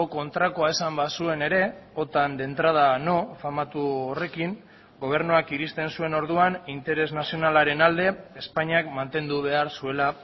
kontrakoa esan bazuen ere otan de entrada no famatu horrekin gobernuak iristen zuen orduan interes nazionalaren alde espainiak mantendu behar zuela